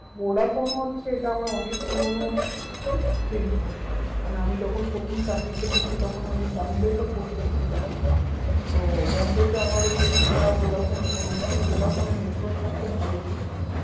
Vodafone হচ্ছে এটা আমার অনেক পুরোনো sim মানে আমি যখন প্রথম চাকরিতে ঢুকি তখন আমি বোম্বেতে posted ছিলাম, তো বোম্বেতে আমার এই sim টা ভোডাফোন আর ওখানে ভোডাফোনের network টা খুব ভালো ছিল